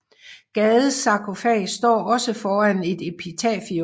Gades sarkofag står også foran et epitafium